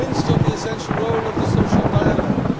We are convinced of the essential role of social dialogue.'